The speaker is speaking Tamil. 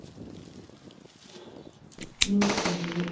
News வருது.